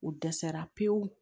U dɛsɛra pewu